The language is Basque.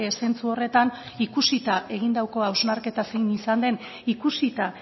zentzu horretan ikusita egindako hausnarketa zein izan den ikusita